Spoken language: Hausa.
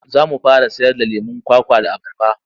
Za mu fara sayarda lemon kwakwa da abarba.